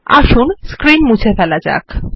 আসুন স্ক্রীন মুছে ফেলা যাক